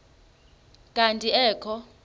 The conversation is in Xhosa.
kanti ee kho